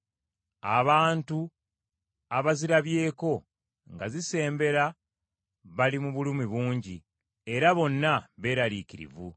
Abantu abazirabyeko nga zisembera bali mu bulumi bungi, era bonna beeraliikirivu.